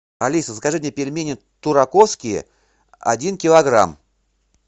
алиса закажи мне пельмени тураковские один килограмм